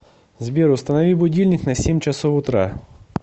сбер установи будильник на семь часов утра